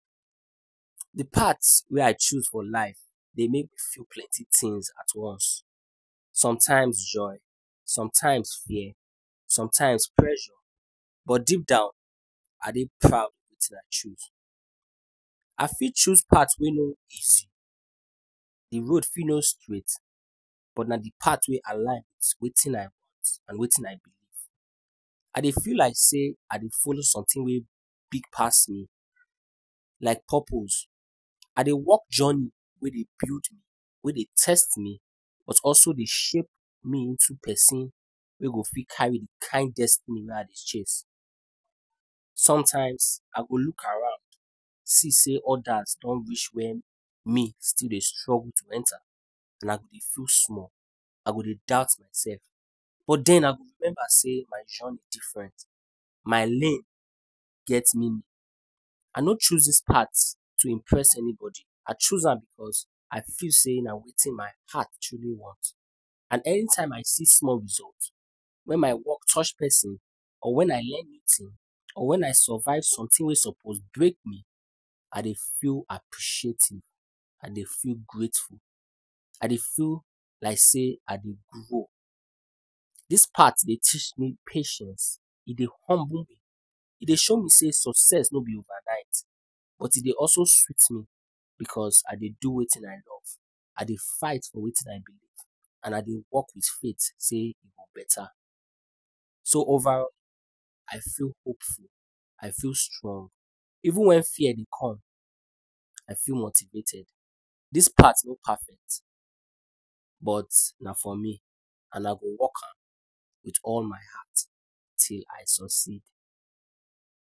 De part wey I choose for life dey make me feel plenty things at once, sometimes joy, sometimes fear, sometimes pressure, but deep down I dey proud wit wetin I choose. I fit choose part wey nor easy, de road fit no straight but na de part wey align with wetin I want and wetin I believe. I dey feel like say I dey follow something wey big pass me, like purpose. I dey walk journey wey dey build me, wey dey test me, but also dey shape me into person wey go fit carry de kind destiny wey I dey chase. Sometimes, I go look around see sey others don reach where me still dey struggle to enter and I go dey feel small, I go dey doubt myself, but den I go remember sey my journey different, my lane get meaning. I no choose dis part to impress anybody, I choose am because I feel sey na wetin my heart truly want and anytime I see small result wen my work touch person or wen I learn new thing or wen I survive something wey suppose break me, i dey feel appreciative, I dey feel grateful, I dey feel like sey I dey grow. Dis part dey teach me patience, e dey humble me, e dey show me sey success nor be overnight, but e dey also sweet me because I dey do wetin I love, I dey fight for wetin I believe and I dey work with faith sey e go better. So overall, I feel hopeful, I feel strong even when fear dey come I feel motivated. Dis part nor perfect but na for me and I go work am with all my heart till I succeed.